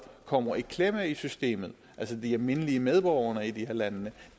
kommer i klemme i systemet altså de almindelige medborgere i de her lande